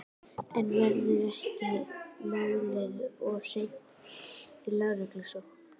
En verður málið ekki sent í lögreglurannsókn?